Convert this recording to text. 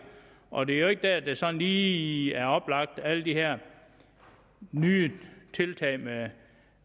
og det er jo ikke der det sådan lige er oplagt alle de her nye tiltag med